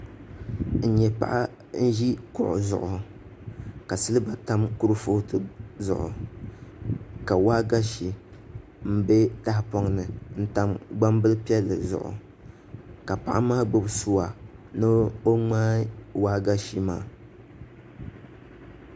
N nyɛ paɣa n ʒi kuɣu zuɣu ka silba tam kuripooti zuɣu ka waagashe n bɛ tahapoŋ ni n tam gbambili piɛlli zuɣu ka paɣa maa gbubi suwa ni o ŋmaa waagashe maa